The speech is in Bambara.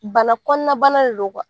Bana kɔnɔna bana de do